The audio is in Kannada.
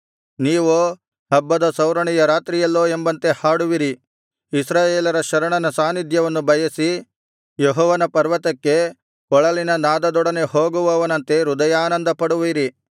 ನೀವೋ ಹಬ್ಬದ ಸೌರಣೆಯ ರಾತ್ರಿಯಲ್ಲೋ ಎಂಬಂತೆ ಹಾಡುವಿರಿ ಇಸ್ರಾಯೇಲರ ಶರಣನ ಸಾನ್ನಿಧ್ಯವನ್ನು ಬಯಸಿ ಯೆಹೋವನ ಪರ್ವತಕ್ಕೆ ಕೊಳಲಿನ ನಾದದೊಡನೆ ಹೋಗುವವನಂತೆ ಹೃದಯಾನಂದಪಡುವಿರಿ